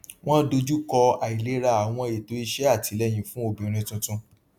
wọn dojú kọ àìlera àwọn ètò iṣẹ àtìlẹyìn fún obìnrin tuntun